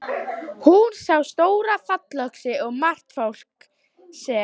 Hún sá stóra fallöxi og margt fólk sem.